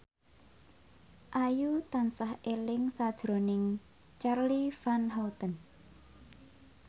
Ayu tansah eling sakjroning Charly Van Houten